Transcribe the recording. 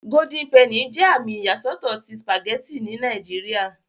Golden penny jẹ àmì iyasọtọ tí spaghetti ní Nàìjíría.